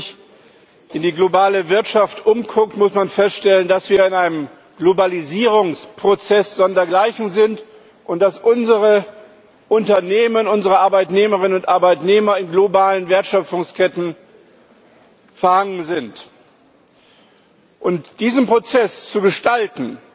Wenn man sich in der globalen Wirtschaft umguckt, muss man feststellen, dass wir in einem Globalisierungsprozess sondergleichen sind und dass unsere Unternehmen, unsere Arbeitnehmerinnen und Arbeitnehmer in globalen Wertschöpfungsketten verhangen sind. Diesen Prozess zu gestalten,